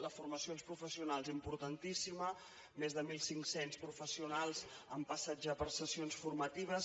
la formació als professionals importantíssima més de mil cinc cents professionals han passat ja per sessions formatives